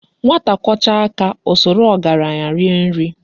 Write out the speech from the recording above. "Nwata kwọchaa aka, o soro ọgaranya rie nri.